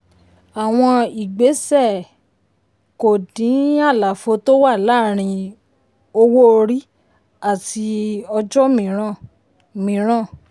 àwọn ìgbésẹ̀ um kò dín àlàfo tó wà láàárín owó orí àti ojò mìíràn. mìíràn.